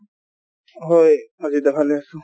হয়, অজিত দা ভালে আছো